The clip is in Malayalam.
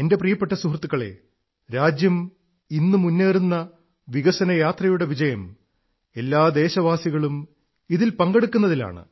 എന്റെ പ്രിയപ്പെട്ട സുഹൃത്തുക്കളേ രാജ്യം ഇന്ന് മുന്നേറുന്ന വികസനയാത്രയുടെ വിജയം എല്ലാ ദേശവാസികളും ഇതിൽ പങ്കെടുക്കുന്നതിലാണ്